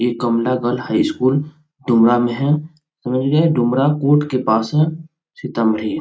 ये Kamla girl high school Dumra में है समझ गए डुमरा कोर्ट के पास है सीतामढ़ी --